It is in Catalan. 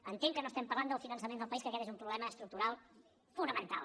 entenc que no parlem del finançament del país que aquest és un problema estructural fonamental